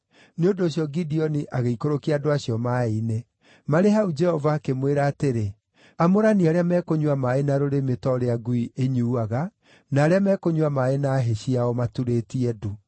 Nĩ ũndũ ũcio Gideoni agĩikũrũkia andũ acio maaĩ-inĩ. Marĩ hau Jehova akĩmwĩra atĩrĩ, “Amũrania arĩa mekũnyua maaĩ na rũrĩmĩ ta ũrĩa ngui ĩnyuuaga na arĩa mekũnyua maaĩ na hĩ ciao maturĩtie ndu.”